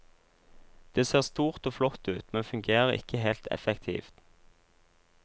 Det ser stort og flott ut, men fungerer ikke helt effektivt.